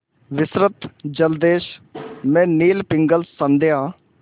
विस्तृत जलदेश में नील पिंगल संध्या